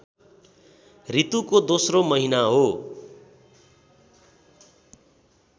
ऋतुको दोस्रो महिना हो